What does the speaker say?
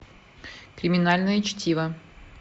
криминальное чтиво